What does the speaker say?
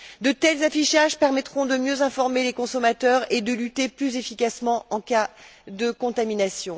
De tels affichages permettront de mieux informer les consommateurs et de lutter plus efficacement en cas de contamination.